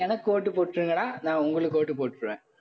எனக்கு ஓட்டு போட்டுருங்கடா நான் உங்களுக்கு ஓட்டு போட்டுருவேன்.